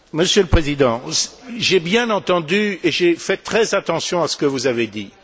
Monsieur le Président, j'ai bien entendu et j'ai fait très attention à ce que vous avez dit.